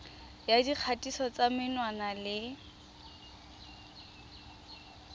ya dikgatiso tsa menwana le